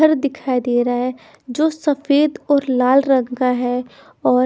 घर दिखाई दे रहा है जो सफेद और लाल रंग का है और--